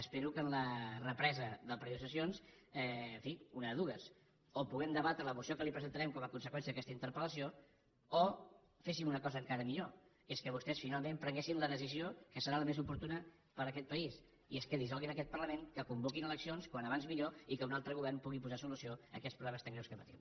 espero que en la represa del període de sessions en fi una de dues o puguem debatre la moció que li presentarem com a conseqüència d’aquesta interpel·lació o féssim una cosa encara millor que és que vostès finalment prenguessin la decisió que serà la més oportuna per a aquest país i és que dissolguin aquest parlament que convoquin eleccions com més aviat millor i que un altre govern pugui posar solució a aquests problemes tan greus que patim